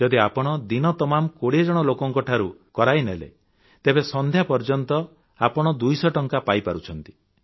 ଯଦି ଆପଣ ଦିନତମାମ୍ ୨୦ ଜଣ ଲୋକଙ୍କଠାରୁ କରାଇନେଲେ ତେବେ ସନ୍ଧ୍ୟା ପର୍ଯ୍ୟନ୍ତ ଆପଣ ୨୦୦ ଟଙ୍କା ପାଇପାରୁଛନ୍ତି